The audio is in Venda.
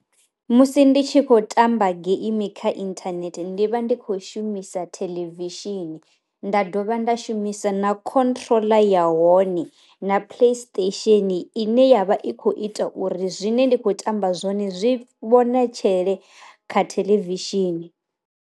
Musi nditshi kho tamba geimi kha inthanethe ndi vha ndi khou shumisa theḽevishini, nda dovha nda shumisa na khontroḽa ya hone na play station ine yavha i kho ita uri zwine ndi kho tamba zwone zwi vhonetshele kha theḽevishini.